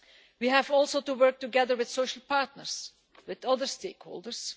We have also to work together with social partners and other stakeholders.